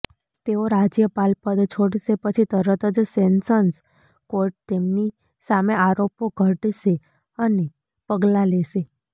તેઓ રાજ્યપાલપદ છોડશે પછી તરત જ સેશન્સ કોર્ટ તેમની સામે આરોપો ઘડશે અને પગલાં લેશે